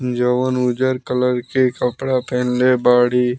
John उजर colour के कपड़ा पहनले बाड़ी।